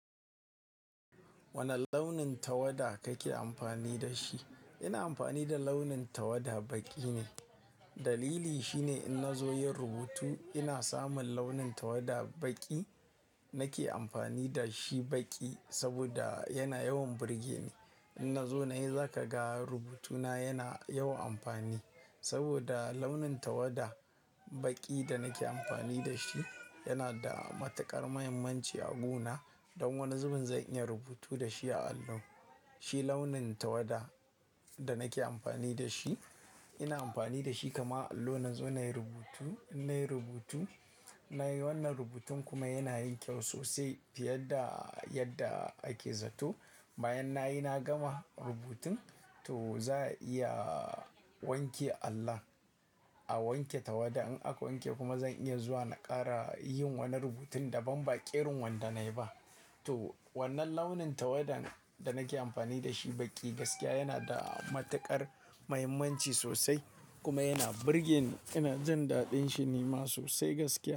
Wane launin tawada kake amfani da shi? Ina amfani da launin tawada baƙi ne. Dalili shine in na zo yin rubutu, ina samun launin tawada baƙi. Nake amfani da shi baƙi saboda yana yawan burge ni. In na zo na yi, za ka ga rubutuna yana yawan amfani. Saboda launin tawada baƙi da nake amfani da shi yana da matuƙar muhimmanci a guna. Don wani zubin zan iya rubutu da shi a allo. Shi launin tawada da nake amfani da shi. Ina amfani da shi kama allo na zo nayi rubutu, in nayi rubutu, nayi wannan rubutun kuma yana yin kyau sosai fiye da yadda ake zato. Bayan nayi na gama rubutun to za a iya wanke allon. A wanke tawada in aka wanke kuma zan iya zuwa na ƙara yin wani rubutun daban ba ƙerin wanda nayi ba. To wannan launin tawadan da nake amfani da shi baƙi gaskiya yana da matuƙar mahimmanci sosai kuma yana burge ni. Ina jin daɗin shi ni ma sosai gaskiya.